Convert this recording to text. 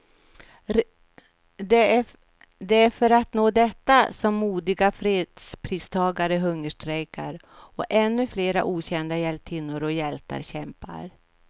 Det är för att nå detta som modiga fredspristagare hungerstrejkar, och ännu flera okända hjältinnor och hjältar kämpar.